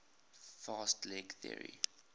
fast leg theory